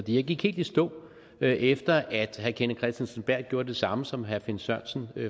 jeg gik helt i stå efter herre kenneth kristensen berth gjorde det samme som herre finn sørensen